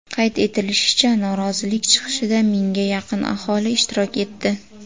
Qayd etilishicha, norozilik chiqishida mingga yaqin aholi ishtirok etdi.